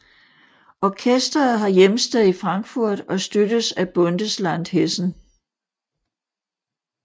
Orkesteret har hjemsted i Frankfurt og støttes af Bundesland Hessen